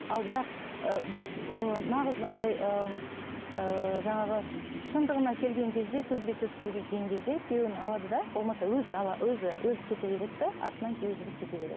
ал бірақ ыыы нағыз мынандай ыыы жаңағы шындығына келген кезде сөзбе сөз келген кезде күйеуін алады да болмаса өзі ала өзі өзі кете береді де артынан күйеуі жүріп кете береді